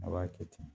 A b'a kɛ ten